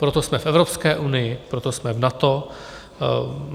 Proto jsme v Evropské unii, proto jsme v NATO.